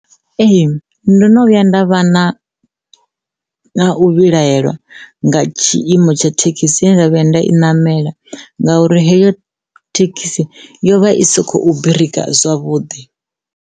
Ee, ndo no vhuya nda vha na u vhilahela nga tshiimo tsha thekhisini ye nda vhuya nda i namela ngauri heyo thekhisi yo vha i si khou birika zwavhuḓi.